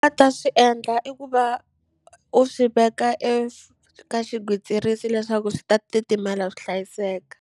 A ta swi endla i ku va u swi veka eka xigwitsirisi leswaku swi ta titimela swi hlayiseka.